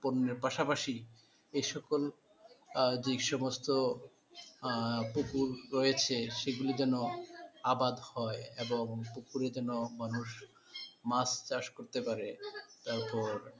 পণ্যের পাশাপাশি এই সকল আহ যে সমস্ত আহ পুকুর রয়েছে সেগুলি যেন আবাদ হয় এবং পুকুরে জেন মানুষ মাছ চাষ করতে পারে তারপর,